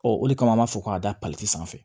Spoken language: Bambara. Ɔ o de kama an b'a fɔ k'a da sanfɛ